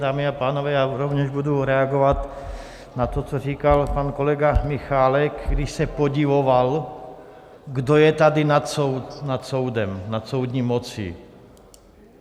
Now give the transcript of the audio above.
Dámy a pánové, já rovněž budu reagovat na to, co říkal pan kolega Michálek, když se podivoval, kdo je tady nad soudem, nad soudní mocí.